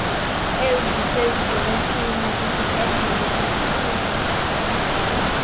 ezisezidolophini nakwizibhedlele kwizithili